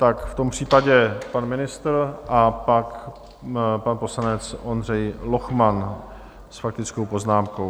Tak v tom případě pan ministr a pak pan poslanec Ondřej Lochman s faktickou poznámkou.